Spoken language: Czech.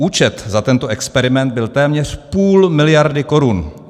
Účet za tento experiment byl téměř půl miliardy korun!